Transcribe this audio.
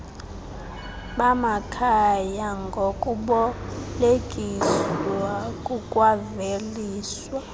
bamakhaya ngokubolekiswa kukwaveliswa